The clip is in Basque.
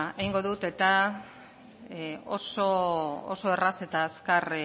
egingo dut eta oso erraz eta azkar